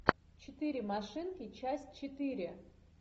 четыре машинки часть четыре